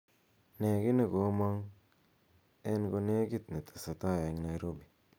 nee gii negomong en konegit netesetai en nairobi